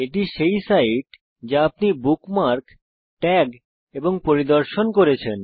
এটি সেই সাইট যা আপনি বুকমার্ক ট্যাগ এবং পরিদর্শন করেছেন